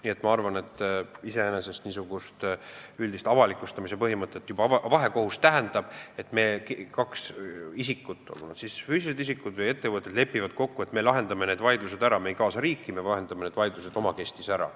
Nii et ma arvan, et mis puutub üldise avalikustamise põhimõttesse, siis vahekohus tähendab seda, et kaks isikut, olgu nad füüsilised isikud või ettevõtted, lepivad kokku, et me lahendame vaidluse ära, me ei kaasa riiki, me lahendame vaidluse omakeskis ära.